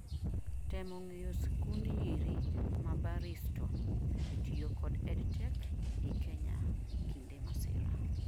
temo ng'eyo sikund nyiri ma Barriesto tiyo kod EdTech I Kenya kinde masira